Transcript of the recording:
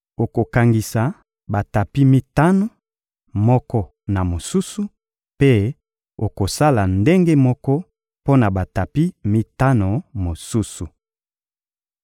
Okokangisa batapi mitano, moko na mosusu, mpe okosala ndenge moko mpo na batapi mitano mosusu.